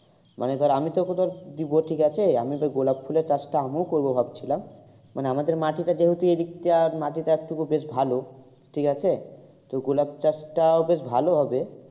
মানে ধর আমি তোকে ধর দেবো ঠিক আছে আমি তো গোলাপ ফুলের চাষটা আমিও করবো ভাবছিলাম। মানে আমাদের মাটিটা যেহেতু এদিকটা মাটিটা একটুকু বেশ ভালো ঠিক আছে। তো গোলাপ চাষটাও বেশ ভালো হবে।